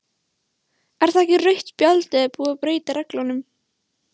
Er það ekki rautt spjald eða er búið að breyta reglunum?